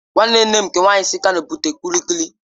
Nwanne nne m nke nwaanyị si Kano bute kulikuki